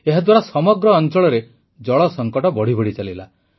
ଏହାଦ୍ୱାରା ସମଗ୍ର ଅଂଚଳରେ ଜଳସଂକଟ ବଢ଼ିବଢ଼ି ଚାଲିଲା